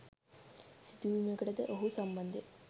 සිදුවීමකට ද ඔහු සම්බන්ධ ය